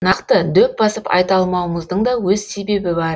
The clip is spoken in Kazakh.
нақты дөп басып айта алмауымыздың да өз себебі бар